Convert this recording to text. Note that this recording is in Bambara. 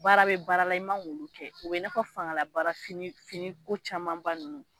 Baara bɛ baara la i man k'olu kɛ o bɛ i n'a fɔ fangalabaara finiko camanba ninnu